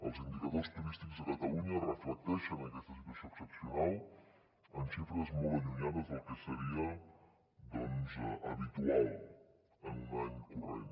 els indicadors turístics a catalunya reflecteixen aquesta situació excepcional amb xifres molt allunyades del que seria doncs habitual en un any corrent